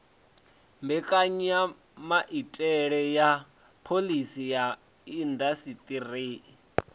mbekanyamaitele ya phoḽisi ya indasiṱeri